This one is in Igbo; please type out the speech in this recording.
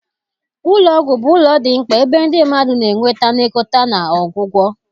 Ụlọ ọgwụ bụ ụlọ dị mkpa ebe ndị mmadụ na-enweta nlekọta na ọgwụgwọ